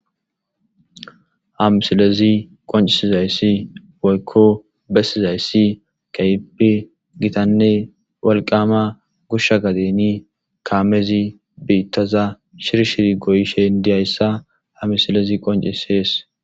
hamsilezi qoncisizayssi woykko bessizayssi kayipi gitanne walqama goshsha gadeni kaamezi biittaza shir shiri goyishen diyayssa hamisilezi qoncisees